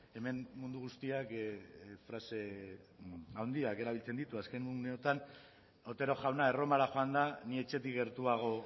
hemen mundu guztiak frase handiak erabiltzen ditu azken uneotan otero jauna erromara joanda ni etxetik gertuago